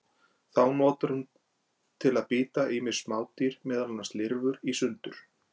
Þá notar hún til að bíta ýmis smádýr, meðal annars lirfur, í sundur.